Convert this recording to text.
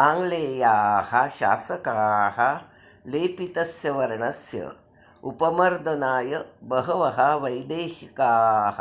आङ्ग्लेयाः शासकाः लेपितस्य वर्णस्य उपमर्दनाय बहवः वैदेशिकाः